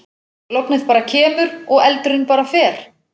Lognið bara kemur og eldurinn bara fer.